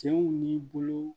Cɛw ni bolow